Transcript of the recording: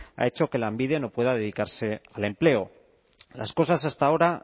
ha hecho que lanbide no pueda dedicarse al empleo las cosas hasta ahora